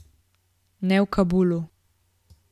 Ne v Kabulu.